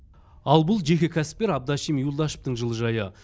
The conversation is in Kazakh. ал бұл жеке кәсіпкер абдашим юлдашевтің жылыжайы